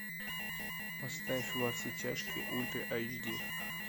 поставь во все тяжкие ультра айч ди